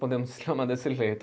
Podemos chamar desse jeito.